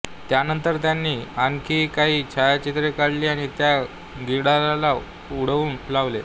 त्यानंतर त्यांनी आणखीही काही छायाचित्रे काढली आणि त्या गिधाडाला उडवून लावले